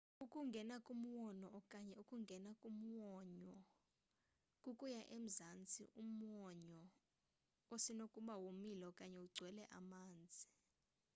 ukungea kumwonyo okanye: ukungena kumwonyo kukuya emazantsi omwonyo osenokuba womile okanye ugcwele amanzi